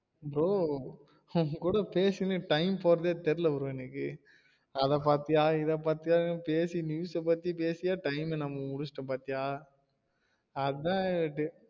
Bro உன்கூட பேசினே time போறதே தெரில்ல Bro எனக்கு அத பாத்திய இத பாத்திய பேசி news ஆ பத்தி பேசியே time அ நம்ம முடிசிடோம் பாத்தியா அதான்யா